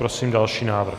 Prosím další návrh.